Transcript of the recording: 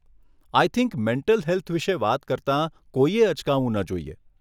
આઈ think mental health વિષે વાત કરતાં કોઈએ અચકાવું ન જોઈએ.